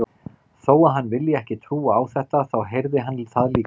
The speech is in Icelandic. Þó að hann vilji ekki trúa á þetta, þá heyrði hann það líka.